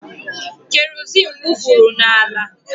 Kerozin wufuru n'ala.